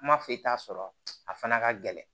Kuma foyi t'a sɔrɔ a fana ka gɛlɛn